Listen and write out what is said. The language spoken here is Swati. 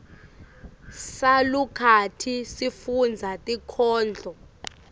salukati sifundza tinkhondlo